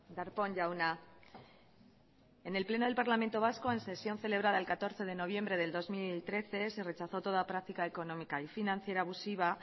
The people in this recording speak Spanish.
darpón jauna en el pleno del parlamento vasco en sesión celebrado el catorce de noviembre de dos mil trece se rechazó toda práctica económica y financiera abusiva